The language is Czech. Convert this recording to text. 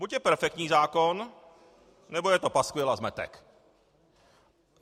Buď je perfektní zákon, nebo je to paskvil a zmetek.